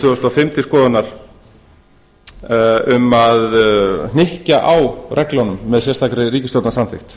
þúsund og fimm til skoðunar um að hnykkja á reglunum með sérstakri ríkisstjórnarsamþykkt